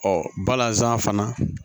Ɔ balazan fana